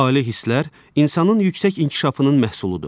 Ali hisslər insanın yüksək inkişafının məhsuludur.